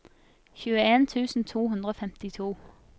tjueen tusen to hundre og femtito